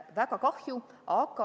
Väga kahju!